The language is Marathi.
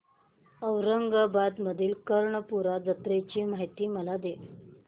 औरंगाबाद मधील कर्णपूरा जत्रेची मला माहिती दे